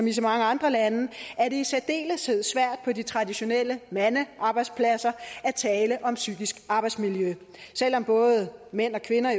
i så mange andre lande i særdeleshed er svært på de traditionelle mandearbejdspladser at tale om psykisk arbejdsmiljø selv om både mænd og kvinder